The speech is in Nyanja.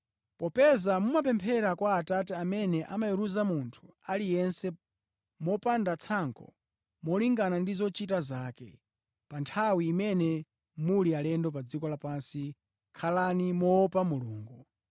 Popeza mumapemphera kwa Atate amene amaweruza munthu aliyense mopanda tsankho molingana ndi zochita zake, pa nthawi imene muli alendo pa dziko lapansi khalani moopa Mulungu.